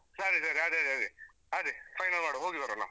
ಹ ಸರಿ ಸರಿ ಅದೇ ಅದೇ ಅದೇ ಅದೇ final ಮಾಡ್ವಾ ಹೋಗಿಬರೋಣ.